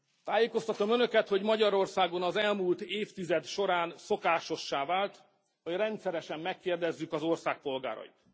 Tájékoztatom Önöket, hogy Magyarországon az elmúlt évtized során szokásossá vált, hogy rendszeresen megkérdezzük az ország polgárait.